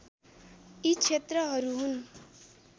यी क्षेत्रहरू हुन्